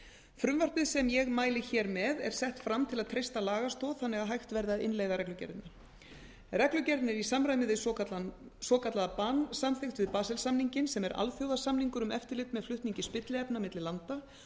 frumvarpið sem ég mæli hér með er sett fram til að treysta lagastoð þannig að hægt verði að innleiða reglugerðina reglugerðin er í samræmi við svokallaða ban samþykkt við basel samninginn sem er alþjóðasamningur um eftirlit með flutningi spilliefna milli landa